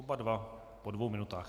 Oba dva po dvou minutách.